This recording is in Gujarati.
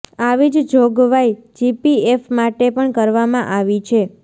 આવી જ જોગવાઈ જીપીએફ માટે પણ કરવામાં આવી છે